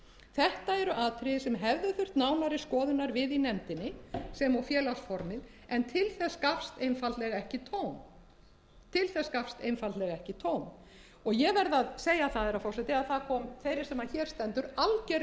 þetta eru atriði sem hefðu þurft nánari skoðunar við í nefndinni sem og félagsformið en til þess gafst einfaldlega ekki tóm ég verð að segja það herra forseti að það kom þeirri sem hér stendur algerlega í